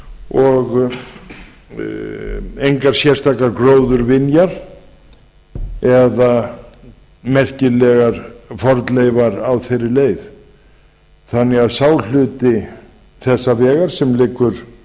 og engar sérstakar gróðurvinjar eða merkilegar fornleifar á þeirri leið þannig að sá hluti þessa vegar sem liggur